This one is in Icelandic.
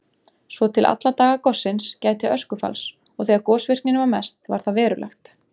Svo til alla daga gossins gæti öskufalls og þegar gosvirknin var mest var það verulegt.